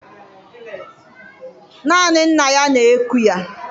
Naanị nna ya na-eku ya.